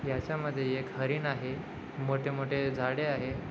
याचा मध्ये एक हरिण आहे मोठे मोठे झाड़े आहे.